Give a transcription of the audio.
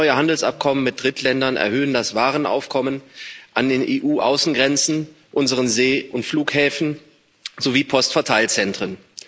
Immer neue Handelsabkommen mit Drittländern erhöhen das Warenaufkommen an den EU Außengrenzen, unseren See und Flughäfen sowie Postverteilzentren.